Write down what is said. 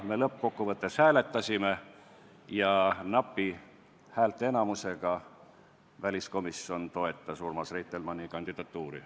Me lõppkokkuvõttes hääletasime ja napi häälteenamusega toetas väliskomisjon Urmas Reitelmanni kandidatuuri.